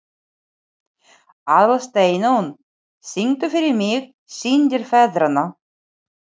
Aðalsteinunn, syngdu fyrir mig „Syndir feðranna“.